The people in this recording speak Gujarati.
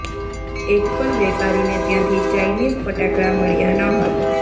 એક પણ વેપારીને ત્યાંથી ચાઈનીઝ ફટાકડા મળ્યા ન હતાં